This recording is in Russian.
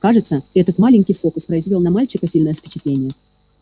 кажется этот маленький фокус произвёл на мальчика сильное впечатление